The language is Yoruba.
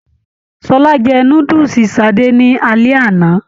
Ṣọlá jẹ núdúsí Sadé ni alẹ́ àná.